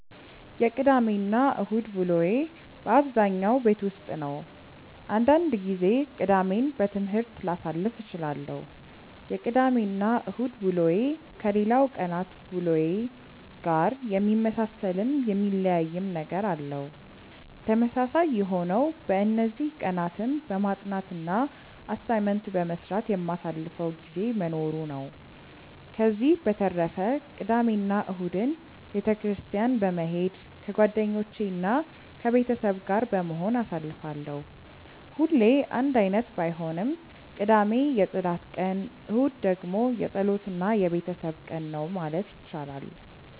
የቅዳሜ እና እሁድ ውሎዬ በአብዛኛው ቤት ውስጥ ነው። አንዳንድ ጊዜ ቅዳሜን በትምህርት ላሳልፍ እችላለሁ። የቅዳሜ እና እሁድ ውሎዬ ከሌላው ቀናት ውሎዬ ጋር የሚመሳሰልም የሚለያይም ነገር አለው። ተመሳሳይ የሆነው በእነዚህ ቀናትም በማጥናት እና አሳይመንት በመስራት የማሳልፈው ጊዜ መኖሩ ነው። ከዚህ በተረፈ ቅዳሜ እና እሁድን ቤተ ክርስትያን በመሄድ ከጓደኞቼ እና ከቤተሰብ ጋር በመሆን አሳልፋለሁ። ሁሌ አንድ አይነት ባይሆንም ቅዳሜ የፅዳት ቀን እሁድ ደግሞ የፀሎት እና የቤተሰብ ቀን ነው ማለት ይቻላል።